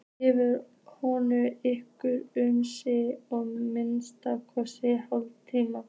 Gefið hvoru ykkar um sig að minnsta kosti hálftíma.